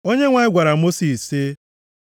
Onyenwe anyị gwara Mosis sị,